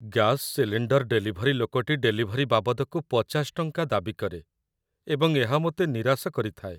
Gas cylinder delivery ଲୋକଟି delivery ବାବଦକୁ ୫୦ ଟଙ୍କା ଦାବି କରେ, ଏବଂ ଏହା ମୋତେ ନିରାଶ କରିଥାଏ।